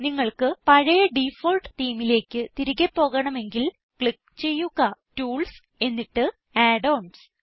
നിങ്ങൾക്ക് പഴയ ഡിഫോൾട്ട് themeലേക്ക് തിരികെ പോകണമെങ്കിൽ ക്ലിക്ക് ചെയ്യുക ടൂൾസ് എന്നിട്ട് add ഓൺസ്